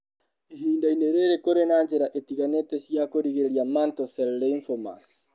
Ihinda-inĩ rĩrĩ, kũrĩ na njĩra itiganĩte cia kũrigĩrĩria Mantle cell lymphomas.